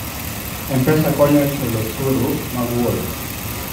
M-Pesa konyo e chulo osuru mag wuoth.